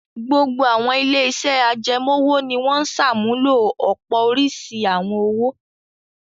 Gbogbo àwọn ilé-iṣẹ́ ajẹmọ́-òwò ni wọn ń ṣàmúlò ọ̀pọ̀ oríṣi àwọn owó.